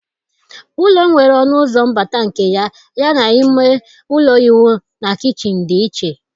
Ụlọ nwere ọnụ ụzọ mbata nke ya, yana ime ụlọ ịwụ na kichin dị iche.